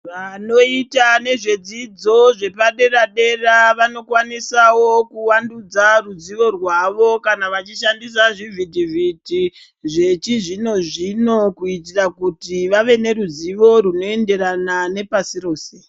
Vanoita nezvedzidzo zvepadera-dera, vanokwanisawo kuwandudza ruzivo rwavo kana vachishandisa zvivhitivhiti zvechizvino-zvino kuitira kuti vave neruzivo runoenderana nepasi rose.